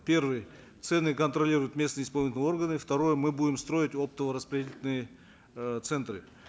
первый цены контролируют местные исполнительные органы второе мы будем строить оптово распределительные э центры